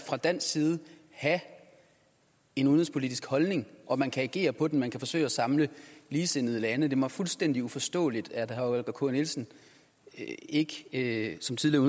fra dansk side have en udenrigspolitisk holdning og man kan agere på den man kan forsøge at samle ligesindede lande det er mig fuldstændig uforståeligt at herre holger k nielsen ikke ikke som tidligere